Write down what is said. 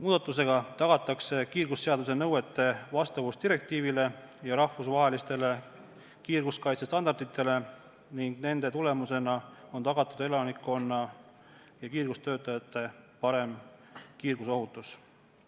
Muudatusega tagatakse kiirgusseaduse nõuete vastavus direktiivile ja rahvusvahelistele kiirguskaitsestandarditele ning nende tulemusena on tagatud elanikkonna ja kiirgustöötajate parem kiirgusohutus.